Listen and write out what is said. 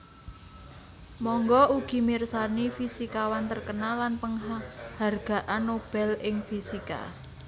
Mangga ugi mirsani Fisikawan terkenal lan Penghargaan Nobel ing Fisika